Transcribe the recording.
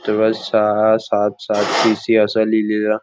triple सहा सात सात टीसी असा लिहिलेल --